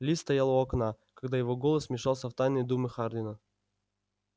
ли стоял у окна когда его голос вмешался в тайные думы хардина